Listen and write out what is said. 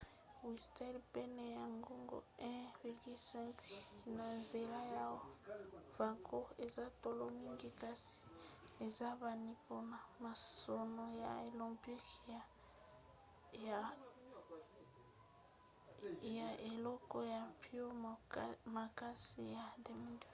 whistler pene ya ngonga 1,5 na nzela ya vancouver eza talo mingi kasi eyebani mpona masano ya olympique ya eleko ya mpio makasi ya 2010